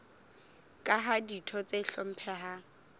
ka ha ditho tse hlomphehang